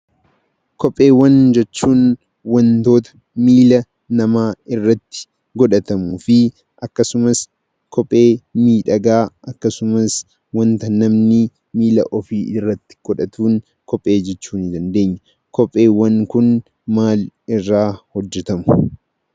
Kopheewwan jechuun wantoota miila namaa irratti godhatamuu fi akkasumas kophee miidhagaa akkasumas wanta namni miila ofii irratti godhatuun kophee jechuu ni dandeenya. Kopheewwan kun maalirraa hojjatamu?